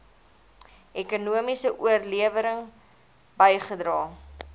ekonomiese oplewing bygedra